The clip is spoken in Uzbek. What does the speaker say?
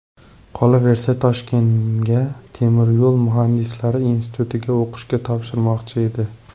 Qolaversa, Toshkentga Temir yo‘l muhandislari institutiga o‘qishga topshirmoqchi edi.